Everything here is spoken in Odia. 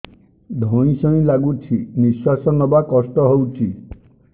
ଧଇଁ ସଇଁ ଲାଗୁଛି ନିଃଶ୍ୱାସ ନବା କଷ୍ଟ ହଉଚି